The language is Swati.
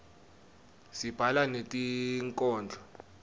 sibhala netinkhondlo